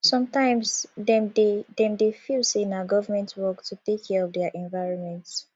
sometimes dem dey dem dey feel sey na government work to take care of their environment